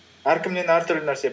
әркімнен әртүрлі нәрсе